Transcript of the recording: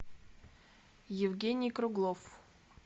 евгений круглов